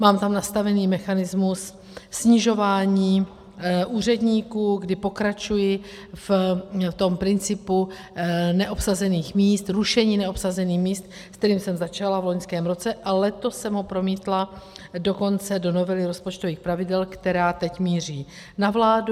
Mám tam nastavený mechanismus snižování úředníků, kdy pokračuji v tom principu neobsazených míst, rušení neobsazených míst, se kterým jsem začala v loňském roce, a letos jsem ho promítla dokonce do novely rozpočtových pravidel, která teď míří na vládu.